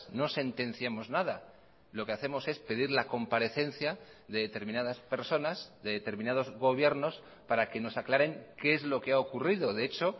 no sentenciamos nada lo que hacemos es pedir la comparecencia de determinadas personas de determinados gobiernos para que nos aclaren qué es lo que ha ocurrido de hecho